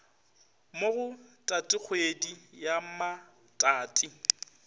mo go tatikgwedi ya matati